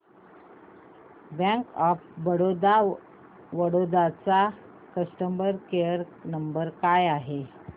bank of Baroda Vadodara चा customer care number काय आहे